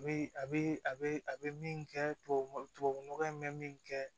A bɛ a bɛ a bɛ a bɛ min kɛ tubabu nɔgɔ tubabu nɔgɔ in bɛ min kɛ